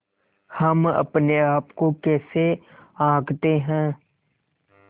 हम अपने आप को कैसे आँकते हैं